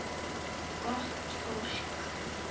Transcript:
Gott fólk.